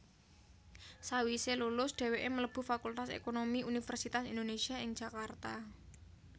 Sawise lulus dheweke mlebu Fakultas Ekonomi Universitas Indonésia ing Jakarta